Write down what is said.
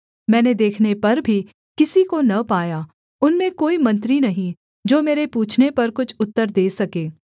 मैंने देखने पर भी किसी को न पाया उनमें कोई मंत्री नहीं जो मेरे पूछने पर कुछ उत्तर दे सके